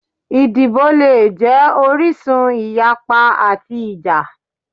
Idibo le jẹ orisun iyapa ati ija